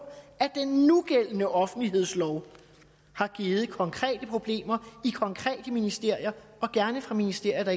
at den nugældende offentlighedslov har givet konkrete problemer i konkrete ministerier ministerier